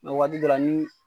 Nka wagati d ni